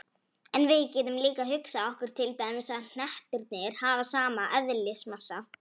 En við getum líka hugsað okkur til dæmis að hnettirnir hafi sama eðlismassa.